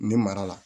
Ne mara la